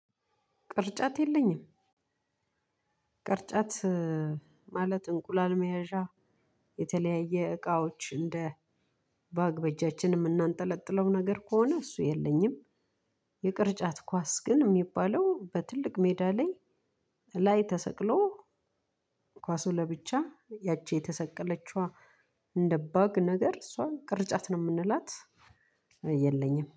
ቅርጫት የለኝም። ቅርጫት እ ማለት እንቁላል መያዣ የተለያየ እቃዎች እንደ ባግ በጃችን የምናንጠለጥለው ነገር ከሆነ እሱ የለኝም። የቅርጫት ኳስ ግን የሚባለው በትልቅ ሜዳ ላይ ላይ ተሰቅሎ። ኳሱ ለብቻ ያቺ የተሰቀለችዋ እንደ ባግ ነገር እሷን ቅርጫት ነው የምንላት። የለኝም